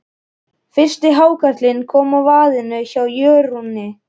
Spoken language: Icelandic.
Fyrsti hákarlinn kom á vaðinn hjá Jórunni.